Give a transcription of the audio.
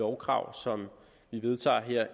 lovkrav som vi vedtager her